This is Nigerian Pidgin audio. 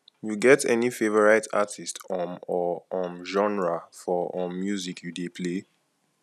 you get any favorite artist um or um genre for um music you dey play